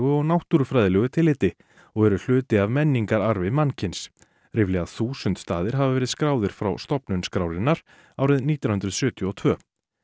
og náttúrufræðilegu tilliti og eru hluti af menningararfi mannkyns ríflega þúsund staðir hafa verið skráðir frá stofnun skrárinnar árið nítján hundruð sjötíu og tvö